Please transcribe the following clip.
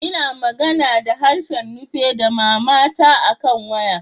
N'na magana da harshen Nupe da mama ta akan waya.